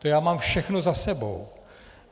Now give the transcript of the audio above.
To já mám všechno za sebou.